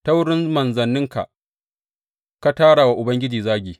Ta wurin manzanninka ka tara wa Ubangiji zagi.